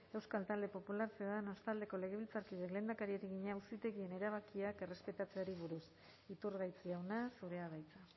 euskal talde popularra ciudadanos taldeko legebiltzarkideak lehendakariari egina auzitegien erabakiak errespetatzeari buruz iturgaiz jauna zurea da hitza